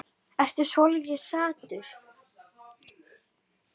Ertu svolítið saddur?